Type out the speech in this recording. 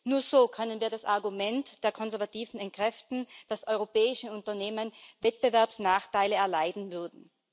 Nur so können wir das Argument der Konservativen entkräften, dass europäische Unternehmen Wettbewerbsnachteile erleiden würden.